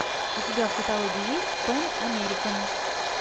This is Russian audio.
у тебя в каталоге есть пэн американ